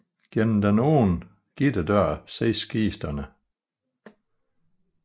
Gennem den åbne gitterdør ses kisterne